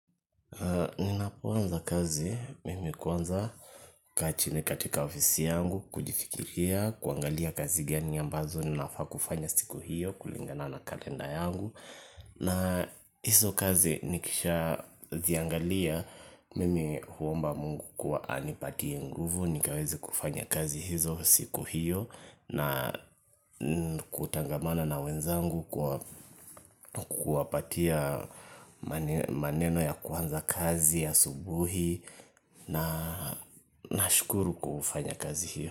Ninapoanza kazi, mimi kwanza hukaa chini katika ofisi yangu, kujifikiria, kuangalia kazi gani ambazo, ninafaa kufanya siku hiyo, kulingana na kalenda yangu na hizo kazi nikisha ziangalia, mimi huomba mungu kuwa anipatie nguvu, nikaweze kufanya kazi hizo siku hiyo na kutangamana na wenzangu kwa kuwapatia maneno ya kuanza kazi asubuhi na nashukuru kufanya kazi hiyo.